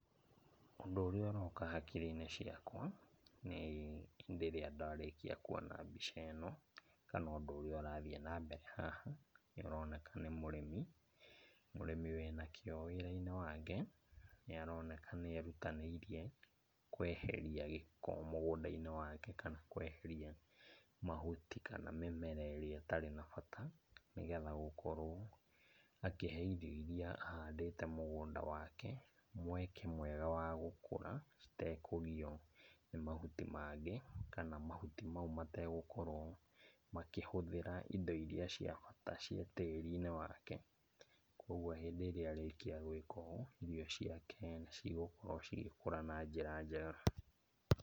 Ũndũ ũrĩa ũroka hakiri-inĩ ciakwa, nĩ hĩndĩ irĩa ndarĩkia kuona mbica ĩno, kana ũndũ ũrĩa ũrathiĩ na mbere haha, nĩ ũroneka nĩ mũrĩmi, mũrĩmi wĩna kĩo wĩra-inĩ wake. Nĩ aroneka nĩ erutanĩirie kweheria giko mũgũnda-inĩ wake kana kweheria mahuti kana mĩmera ĩrĩa ĩtarĩ na bata, nĩ getha gũkorwo, akĩhe indo iria ahandĩte mũgũnda wake mweke mwega wa gũkũra, ĩtekũgio nĩ mahuti mangĩ, kana mahuti mau mategũkorwo makĩhũthĩra indo iria cia bata cia tĩri-inĩ wake. Koguo hĩndĩ ĩrĩa arĩkia gwĩka ũũ irio ciake nĩ cigũkorwo cigĩkũra na njĩra njega.